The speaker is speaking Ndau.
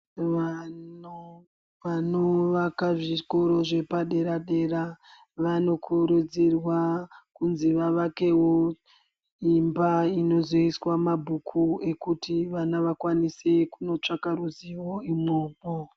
Vana vanovaka zvikoro zvepadera dera vanokurudzirwa kunzi vavakewo imba inozoiswa mabhuku ekuti vana vakwanise kunotsvaka ruziwo imwomwo.